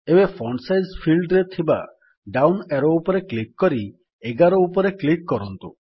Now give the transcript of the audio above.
ଏବେ font size ଫିଲ୍ଡରେ ଥିବା ଡାଉନ୍ ଆରୋ ଉପରେ କ୍ଲିକ୍ କରି 11 ଉପରେ କ୍ଲିକ୍ କରନ୍ତୁ